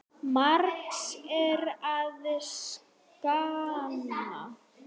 Margs er að sakna.